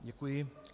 Děkuji.